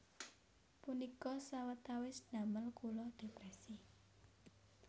Punika sawetawis damel kula depresi